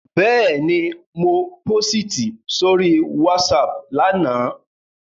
Bẹ́ẹ̀ni, mo pósìtì sórí WhatsApp lánàá